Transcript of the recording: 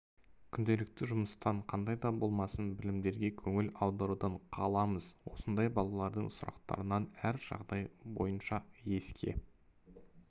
күнделікті жұмыстан қандай да болмасын білімдерге көңіл аударудан қаламыз осындай баларадың сұрақтарынан әр жағдай бойынша еске